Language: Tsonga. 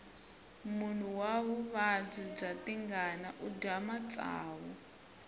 munhu wa vuvabyi bya tingana udya matsavu